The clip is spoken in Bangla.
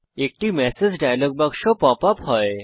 একটি ম্যাসেজ ডায়লগ বাক্স পপ আপ হয়